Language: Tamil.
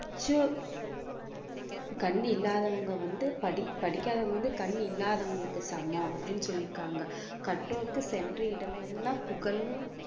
ச்சு கண்ணு இல்லாதவங்க வந்து படிக்~ படிக்காதவங்க வந்து கண் இல்லாதவங்களுக்கு சமம் அப்படின்னு சொல்லியிருக்காங்க கற்றோருக்கு சென்ற இடமெல்லாம் புகழ்னு